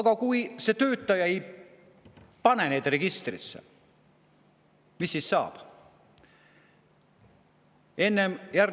Aga kui see töötaja ei kanna neid registrisse, mis siis saab?